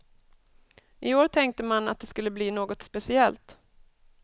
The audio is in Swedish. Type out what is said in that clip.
I år tänkte man att det skulle bli något speciellt.